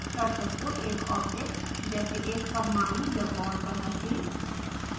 cursor को एक object जैसे एक परमाणु या बॉन्ड पर रखें